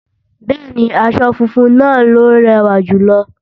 Bẹ́ẹ̀ni, aṣọ funfun náà ló rẹ̀wà jùlọ